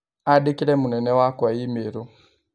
Andĩkĩre mũnene wakwa i-mīrū